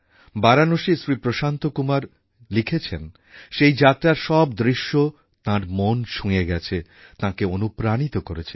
বারাণসীর শ্রী প্রশান্ত কুমার লিখেছেন সেই যাত্রার সব দৃশ্য তাঁর মন ছুঁয়ে গেছে তাঁকে অনুপ্রাণিত করেছে